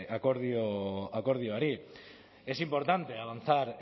akordio akordioari es importante avanzar